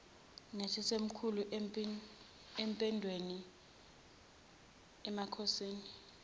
noyisemkhulu empembeni emakhosini